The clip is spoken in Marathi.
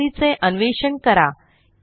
लाइब्ररी चे अन्वेषण करा